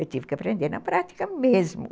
Eu tive que aprender na prática mesmo.